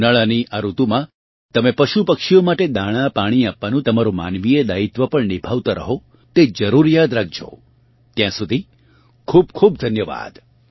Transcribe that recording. ઉનાળાની આ ઋતુમાં તમે પશુપક્ષીઓ માટે દાણાંપાણી આપવાનું તમારું માનવીય દાયિત્વ પણ નિભાવતા રહો તે જરૂર યાદ રાખજો ત્યાં સુધી ખૂબ ખૂબ ધન્યવાદ